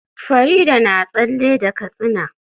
Farida na tsalle da katsina